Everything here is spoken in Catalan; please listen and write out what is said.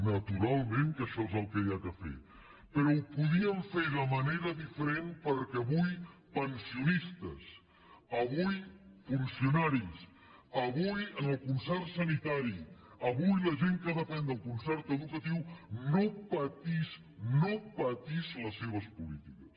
naturalment que això és el que cal fer però ho podien fer de manera diferent perquè avui pensionistes avui funcionaris avui en el concert sanitari avui la gent que depèn del concert educatiu no patís no patís les seves polítiques